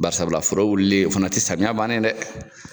Barisabula foro wulili o fana tɛ samiya bannen ye dɛ.